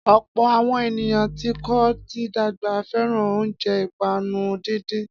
Ọ̀pọ̀ àwọn ènìyàn tí kò tí dàgbà fẹ́ràn oúnjẹ ìpanu díndín.